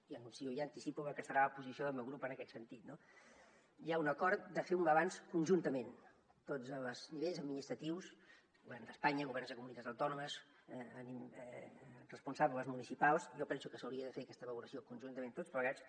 i anuncio i anticipo la que serà la posició del meu grup en aquest sentit no hi ha un acord de fer un balanç conjuntament tots els nivells administratius govern d’espanya governs de comunitats autònomes responsables municipals jo penso que s’hauria de fer aquesta valoració conjuntament tots plegats